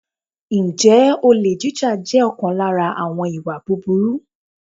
Ǹjẹ́ olè jíjà jẹ́ ọ̀kan lára àwọn ìwà búburú?